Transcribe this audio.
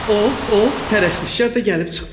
O, o, pərəstişkar da gəlib çıxdı.